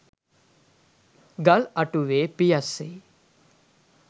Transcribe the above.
ගල් අටුවේ පියස්සේ